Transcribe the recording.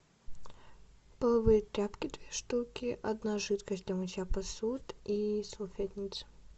половые тряпки две штуки одна жидкость для мытья посуды и салфетница